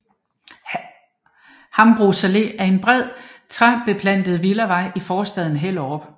Hambros Allé er en bred træbeplantet villavej i forstaden Hellerup